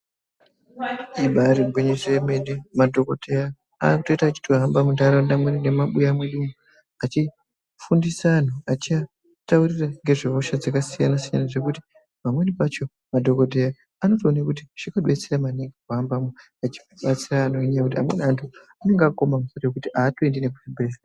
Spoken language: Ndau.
Ibaari gwinyiso remene madhokodheya anotoita achihamba munharaunda mwedu nemumabuya mwedu achifundisa anhu ,achitaurira ngezve hosha dzakasiyanasiyana zvekuti pamweni pacho madhokodheya anotoone kuti zvinobetsera maningi kuhambamwo nekuti amweni anhu anenge akaoma musoro zvekuti atoendi nekuzvibhehleya kwacho.